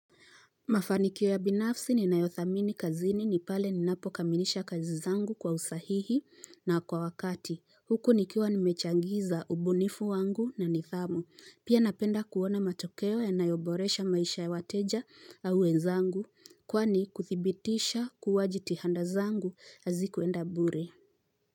Mafanikio ya binafsi ninayothamini kazini ni pale ninapokamilisha kazi zangu kwa usahihi na kwa wakati. Huku nikiwa nimechangiza ubunifu wangu na nidhamu. Pia napenda kuona matokeo yanayoboresha maisha ya wateja au wenzangu. Kwani kuthibitisha kuwa jitihada zangu hazikuenda bure.